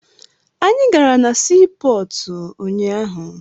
Anyị gara na sii pọọtụ unyaahụ.